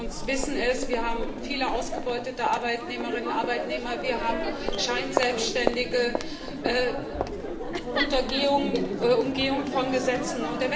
Viele von uns wissen es Wir haben viele ausgebeutete Arbeitnehmerinnen und Arbeitnehmer, wir haben Scheinselbstständige unter Umgehung von Gesetzen.